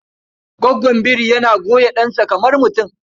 Gwaggon biri yana goya ɗansa kamar mutum.